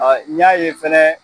Awɔ n y'a ye fɛnɛ.